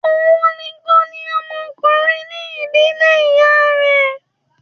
Òhun nìkan ni ọmọ ọkùnrin ní ìdílé ìyá rẹ̀